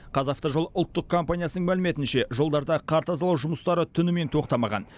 қазавтожол ұлттық компаниясының мәліметінше жолдарда қар тазалау жұмыстары түнімен тоқтамаған